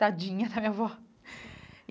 Tadinha da minha avó.